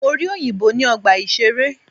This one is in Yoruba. Mo rí òyìnbó ní ọgbà ìṣeré.